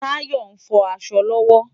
Tayo nfò aṣọ lòwò